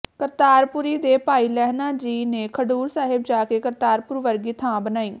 ਕਰਤਾਰਪੁਰੀ ਦੇ ਭਾਈ ਲਹਿਣਾ ਜੀ ਨੇ ਖਡੂਰ ਸਾਹਿਬ ਜਾ ਕੇ ਕਰਤਾਰਪੁਰ ਵਰਗੀ ਥਾਂ ਬਣਾਈ